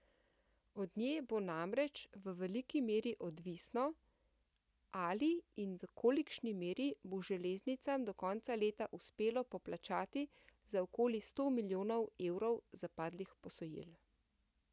Od nje bo namreč v veliki meri odvisno, ali in v kolikšni meri bo železnicam do konca leta uspelo poplačati za okoli sto milijonov evrov zapadlih posojil.